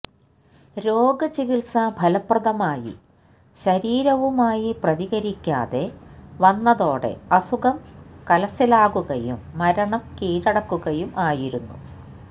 രോഗ ചികിത്സ ഫലപ്രദമായി ശരീരവുമായി പ്രതികരിക്കാതെ വന്നതോടെ അസുഖം കലശലാകുകയും മരണം കീഴടക്കുകയും ആയിരുന്നു